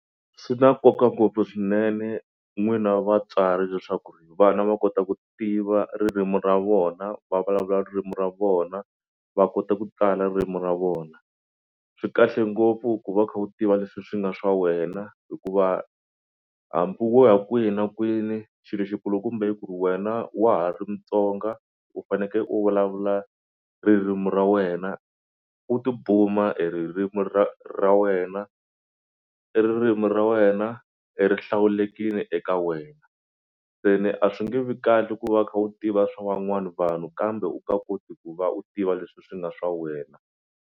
Swi na nkoka ngopfu swinene n'wina vatswari leswaku ri vana va kota ku tiva ririmi ra vona, va vulavula ririmi ra vona, va kota ku tala ririmi ra vona. Swi kahle ngopfu ku va u kha u tiva leswi swi nga swa wena hikuva hambi wo ya kwihi na kwini xilo xikulukumba i ku ri wena wa ha ri mutsonga u faneke u vulavula ririmi ra wena u tibuma hi ririmi ra ra wena. I ririmi ra wena e rihlawulekile eka wena se ni a swi nge vi kahle ku va u kha u tiva swa wan'wana vanhu kambe u ka koti ku va u tiva leswi swi nga swa wena.